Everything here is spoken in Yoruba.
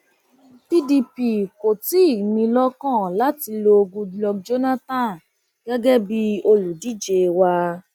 pdp kò tí ì ní in lọkàn láti lo goodluck jonathan gẹgẹ bíi olùdíje wa